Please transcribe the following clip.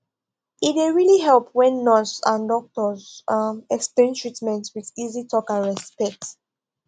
e dey really help when nurse and doctos um explain treatment with easy talk and respect